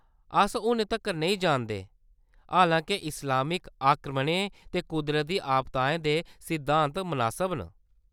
अस हूनै तक्कर नेईं जानदे, हालां-के इस्लामिक आक्रमणें ते कुदरती आपदाएं दे सिद्धांत मनासब न।